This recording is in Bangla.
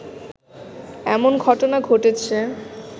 এমন ঘটনা ঘটেছে